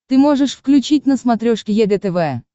ты можешь включить на смотрешке егэ тв